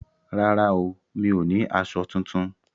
Rárá o, mi ò ní aṣọ tuntun